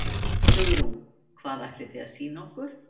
Hugrún: Hvað ætlið þið að sýna okkur?